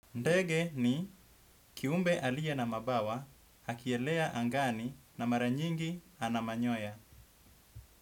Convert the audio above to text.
Ndege ni kiumbe aliye na mabawa akielea angani na mara nyingi ana manyoya.